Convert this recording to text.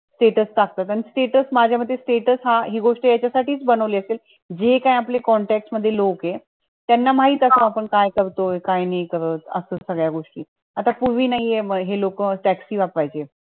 status टाकतात आणि status माझ्या मते status हि गोष्ट याच्या साठी च बनवली असेल जे काही आपल्या contact मधले लोक आहे त्याना माहित असावं काय करतोय काय नाय करत असं सगळ्या गोष्टीआता नाहीये हे लोक taxi वापरायचे.